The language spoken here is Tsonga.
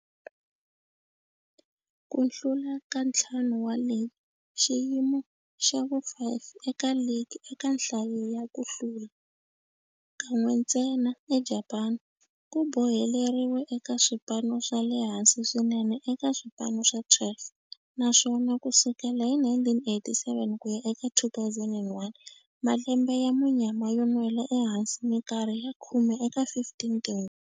Ku hlula ka ntlhanu wa ligi, xiyimo xa vu-5 eka ligi eka nhlayo ya ku hlula, kan'we ntsena eJapani, ku boheleriwe eka swipano swa le hansi swinene eka swipano swa 12, naswona ku sukela hi 1987 ku ya eka 2001, malembe ya munyama yo nwela ehansi minkarhi ya khume eka 15 tinguva.